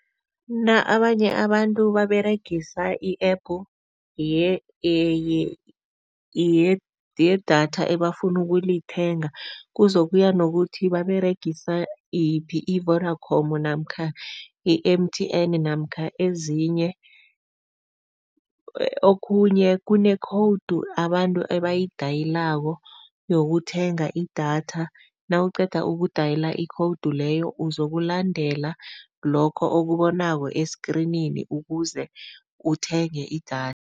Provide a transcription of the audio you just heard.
Abanye abantu baberegisa i-App yedatha ebafuna ukulithenga, kuzokuya nokuthi baberegisa yiphi, i-Vodacom namkha i-M_T_N namkha ezinye. Okhunye kune-code abantu abayidayilako yokuthenga idatha, nawuqeda ukudayila ikhowudu leyo uzokulandela lokho okubonako esikrinini ukuze uthenge idatha.